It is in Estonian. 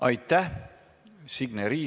Aitäh!